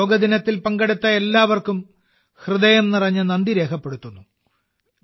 യോഗാ ദിനത്തിൽ പങ്കെടുത്ത എല്ലാവർക്കും ഹൃദയം നിറഞ്ഞ നന്ദി രേഖപ്പെടുത്തുന്നു